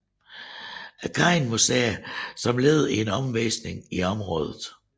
Cain museet som led i en omvisning i området